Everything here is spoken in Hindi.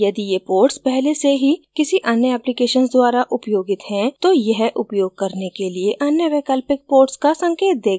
यदि ये ports पहले से ही किसी अन्य applications द्वारा उपयोगित हैं तो यह उपयोग करने के लिए अन्य वैकल्पिक ports का संकेत देगा